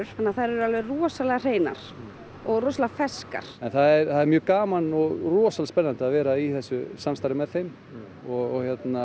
þannig að þær eru alveg rosalega hreinar og rosalega ferskar en það er mjög gaman og rosalega spennandi að vera í þessu samstarfi með þeim og